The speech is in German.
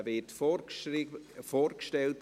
Dieser wird durch Annegret Hebeisen vorgestellt.